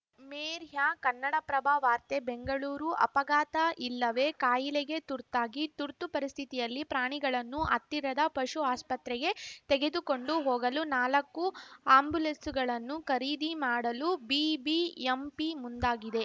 ಮೇರ್ಯ ಕನ್ನಡಪ್ರಭ ವಾರ್ತೆ ಬೆಂಗಳೂರು ಅಪಘಾತ ಇಲ್ಲವೇ ಕಾಯಿಲೆಗೆ ತುರ್ತಾಗಿ ತುರ್ತು ಪರಿಸ್ಥಿತಿಯಲ್ಲಿ ಪ್ರಾಣಿಗಳನ್ನು ಹತ್ತಿರದ ಪಶು ಆಸ್ಪತ್ರೆಗೆ ತೆಗೆದುಕೊಂಡು ಹೋಗಲು ನಾಲಕ್ಕು ಆ್ಯಂಬುಲೆನ್ಸ್‌ಗಳನ್ನು ಖರೀದಿ ಮಾಡಲು ಬಿಬಿಎಂಪಿ ಮುಂದಾಗಿದೆ